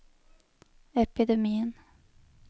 epidemien